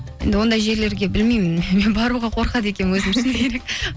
енді ондай жерлерге білмеймін мен баруға қорқады екенмін